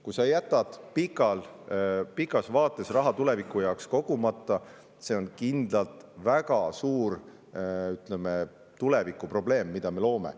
Kui sa jätad pikas vaates raha tuleviku jaoks kogumata, siis on see kindlalt väga suur, ütleme, tulevikuprobleem, mida me loome.